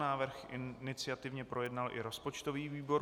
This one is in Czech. Návrh iniciativně projednal i rozpočtový výbor.